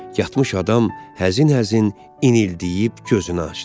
Yatmış adam həzin-həzin inildiyib gözünü açdı.